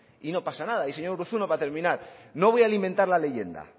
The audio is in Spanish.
y no pasa nada y señor urruzuno para terminar no voy a alimentar la leyenda